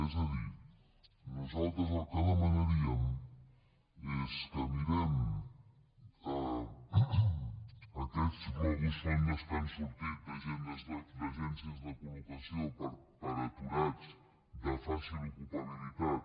és a dir nosaltres el que demanaríem és que mirem aquells globus sonda que han sortit d’agències de collocació per a aturats de fàcil ocupabilitat